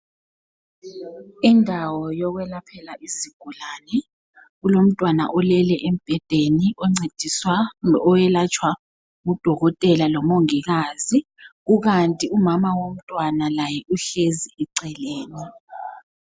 Indawo yokwelaphela izigulani, kulomntwana olele embhedeni oncediswayo, oyelatshwa ngudokotela lomongikazi kukanti umama womntwana laye uhlezi eceleni.